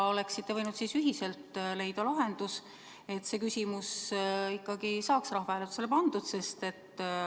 Te oleksite võinud ühiselt leida lahenduse, et see küsimus ikkagi saaks rahvahääletusele pandud.